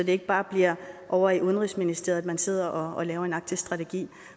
ikke bare bliver ovre i udenrigsministeriet at man sidder og laver en arktisk strategi